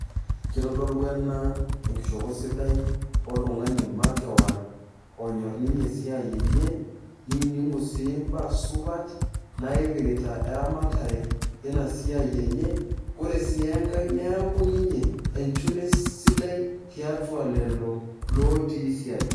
Kitodolu ena enkishopo sidai oltungani makewon onyor ninye esiai enye ,nidimu si mbaasupat naipirta eramatare inasiiai enye ,ore si enkae neaku ninye enchune sidai tiatua lelo otii siadi.